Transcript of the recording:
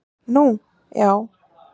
Nú, já